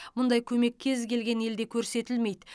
мұндай көмек кез келген елде көрсетілмейді